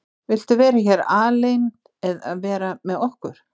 Viltu vera hér aleinn eða vera með okkur?